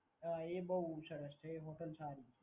હા એ બોવ સરસ છે, એ હોટલ સારી છે.